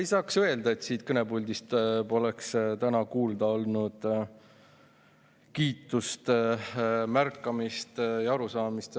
Ei saaks öelda, et siit kõnepuldist poleks täna kuulda olnud kiitust, märkamist ja arusaamist.